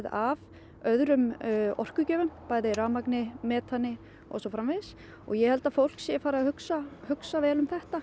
af öðrum orkugjöfum bæði rafmagni metani og svo framvegis og ég held að fólk sé farið að hugsa hugsa vel um þetta